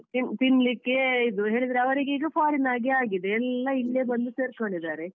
ಆ ತಿನ್~ ತಿನ್ಲಿಕ್ಕೆ ಇದು ಹೇಳಿದ್ರೆ ಅವರಿಗೀಗ foreign ಆಗೆ ಆಗಿದೆ ಎಲ್ಲ ಇಲ್ಲೇ ಬಂದು ಸೇರ್ಕೊಡಿದ್ದಾರೆ.